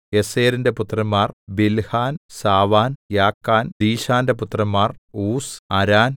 ഏസെരിന്റെ പുത്രന്മാർ ബിൽഹാൻ സാവാൻ യാക്കാൻ ദീശാന്റെ പുത്രന്മാർ ഊസ് അരാൻ